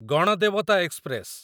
Ganadevata express